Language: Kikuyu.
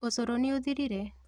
ũcũrũ nĩũthirire?